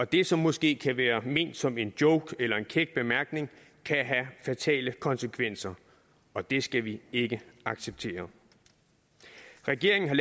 det som måske kan være ment som en joke eller en kæk bemærkning kan have fatale konsekvenser og det skal vi ikke acceptere regeringen har